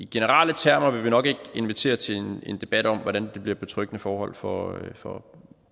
generelle termer vil vi nok ikke invitere til en debat om hvordan det bliver betryggende forhold for for